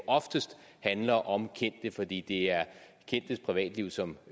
oftest handler om kendte fordi det er kendtes privatliv som